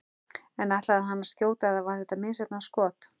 En ætlaði hann að skjóta eða var þetta misheppnað skot?